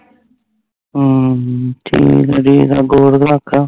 ਅਹਮ ਚਲੋ ਅੱਗੇ ਅੱਗੋਂ ਹੋਵੇ ਤਾਂ ਰੱਖਲਾ